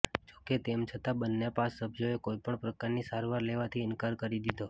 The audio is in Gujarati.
જોકે તેમ છતાં બંને પાસ સભ્યોએ કોઈપણ પ્રકારની સારવાર લેવાથી ઈનકાર કરી દીધો